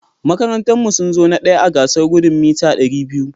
Makarantan mu sunzo na ɗaya a gasar Gudun Meeta Dari biyu (200)